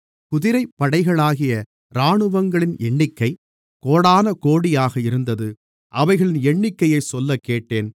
குதிரைப்படைகளாகிய இராணுவங்களின் எண்ணிக்கை கோடானகோடியாக இருந்தது அவைகளின் எண்ணிக்கையைச் சொல்லக்கேட்டேன்